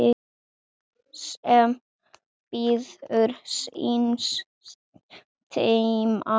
sem bíður síns tíma